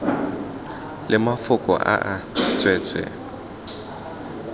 le mafoko a e tswetswe